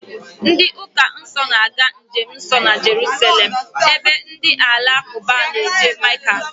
Ndị ụka Kraịst na-aga njemnsọ na Jeruselem ebe ndị alakụba na-eje Meka